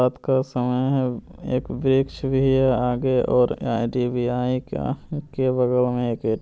रात का समय है एक वृक्ष भी हैं आगे --